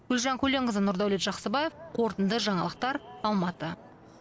гүлжан көленқызы нұрдәулет жақсыбаев қорытынды жаңалықтар алматы